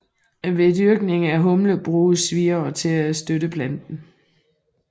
Ved dyrkning af humle bruges wirer til at støtte planten